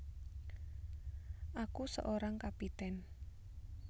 Aku Seorang Kapiten